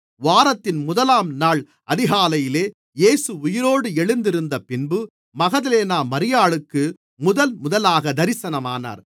வாரத்தின் முதலாம் நாள் அதிகாலையிலே இயேசு உயிரோடு எழுந்திருந்தபின்பு மகதலேனா மரியாளுக்கு முதல்முதலாக தரிசனமானார்